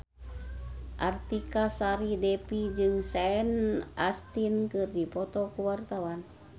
Artika Sari Devi jeung Sean Astin keur dipoto ku wartawan